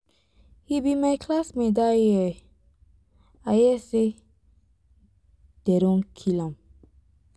he be my classmate dat year i hear say dey don kill am.